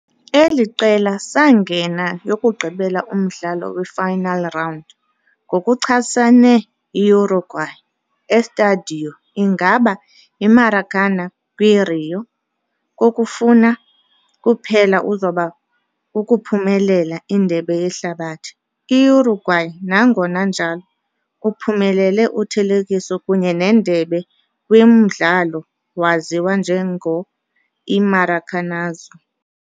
Eli qela sangena yokugqibela umdlalo we-final round, ngokuchasene Uruguay e Estádio ingaba Maracanã kwi-Rio, kokufuna kuphela zoba ukuphumelela Indebe Yehlabathi. Uruguay, nangona kunjalo, uphumelele uthelekiso kunye Nendebe kwi umdlalo waziwa njengo "i-Maracanazo".